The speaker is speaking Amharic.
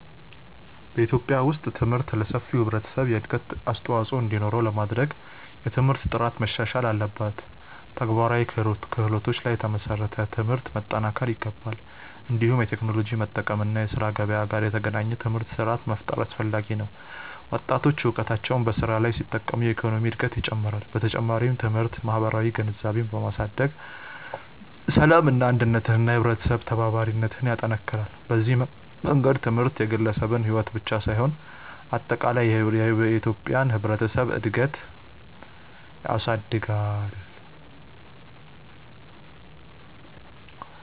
በኢትዮጵያ ውስጥ ትምህርት ለሰፊው ህብረተሰብ እድገት አስተዋፅኦ እንዲኖረው ለማድረግ የትምህርት ጥራት መሻሻል አለበት፣ ተግባራዊ ክህሎቶች ላይ የተመሰረተ ትምህርት መጠናከር ይገባል። እንዲሁም የቴክኖሎጂ መጠቀም እና የስራ ገበያ ጋር የተገናኘ ትምህርት ስርዓት መፍጠር አስፈላጊ ነው። ወጣቶች እውቀታቸውን በስራ ላይ ሲጠቀሙ የኢኮኖሚ እድገት ይጨምራል። በተጨማሪም ትምህርት ማህበራዊ ግንዛቤን በማሳደግ ሰላምን፣ አንድነትን እና የህብረተሰብ ተባባሪነትን ይጠናክራል። በዚህ መንገድ ትምህርት የግለሰብን ሕይወት ብቻ ሳይሆን አጠቃላይ የኢትዮጵያን ህብረተሰብ እድገት ያሳድጋል።